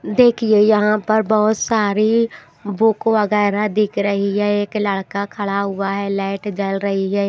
देखिए यहां पर बहुत सारी बुक वगैरह दिख रही है एक लड़का खड़ा हुआ है लाइट जल रही है।